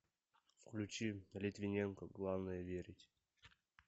включи литвиненко главное верить